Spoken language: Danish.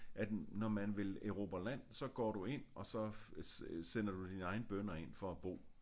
At når man vil erobre land så går du ind og så sender du dine egne bønder ind for at bo